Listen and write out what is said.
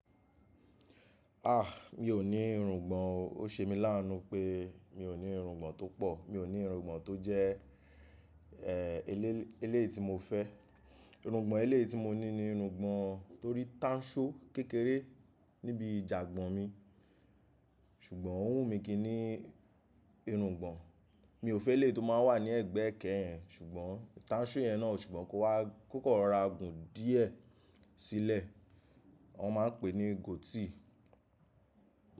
A! Mi ò ní irùngbọ̀n o. Ó ṣe mí láá nu pé mi ò ní irùngbọ̀n tó pọ̀, mi ò ní irùngbọ̀n tó jẹ́ ẹ́ ẹléè tí mo fẹ́. Irùngbọ̀n ẹlẹ́ẹ̀ tí mo ní ni irùngbọ̀n tó rí táǹṣú kékeré níbi ìjàgbọn mi, ṣùgbọ́n ò wù mí kí ni irùngbọ̀n. Mi ò fẹ́ e lé tó máa wà ní ẹ̀gbẹ́ ekẹ́ yen, ṣùgbọ́n táǹṣú yẹn náà ṣùgbọ́n kó wá kòkò rà gun díẹ̀ sílẹ̀. Wọ́n máa ń pè é ní gótì.